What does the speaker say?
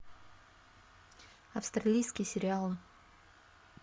австралийские сериалы